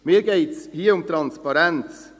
Mir geht es hier um Transparenz.